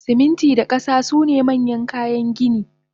Siminti da kasa sune manyan kayan gini